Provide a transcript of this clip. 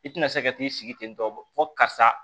I tina se ka t'i sigi ten tɔ fo karisa